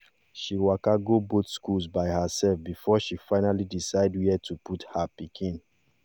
she waka go both schools by herself before she finally decide where to put her pikin